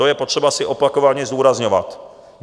To je potřeba si opakovaně zdůrazňovat.